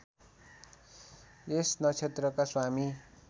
यस नक्षत्रका स्वामी